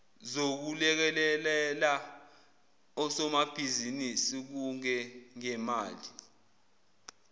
zokulekelela osomabhizinisi kungengemali